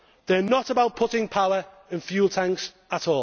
They are not about putting power in fuel tanks at